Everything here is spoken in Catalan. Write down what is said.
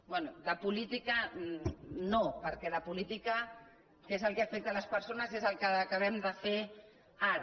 bé de política no perquè de política que és el que afecta les persones és el que acabem de fer ara